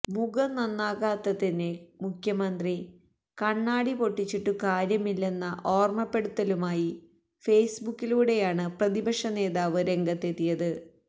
മുഖം നന്നാകാത്തതിന് മുഖ്യമന്ത്രി കണ്ണാടി പൊട്ടിച്ചിട്ടു കാര്യമില്ലെന്ന ഓര്മപ്പെടുത്തലുമായി ഫേസ്ബുക്കിലൂടെയാണ് പ്രതിപക്ഷനേതാവ് രംഗത്തെത്തിയത്